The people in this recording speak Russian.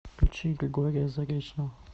включи григория заречного